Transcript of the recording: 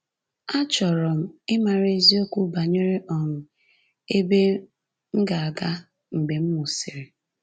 Achọrọ m ịmara eziokwu banyere um ebe m ga-aga mgbe m nwụsịrị